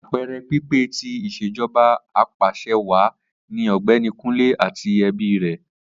Apeere pipe ti Ìṣèjọba Apàṣẹwàá ni Ọgbẹni Kunle ati ẹbi rẹ